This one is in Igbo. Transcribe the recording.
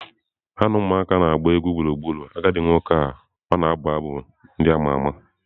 Ha na ụmụaka na-agba egwu gburugburu agadi nwoke ka ọ na-abụ abụ ndị a ma ama.